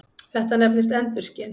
Þetta nefnist endurskin.